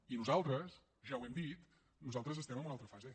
i nosaltres ja ho hem dit nosaltres estem en una altra fase